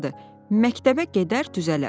Məktəbə gedər düzələr.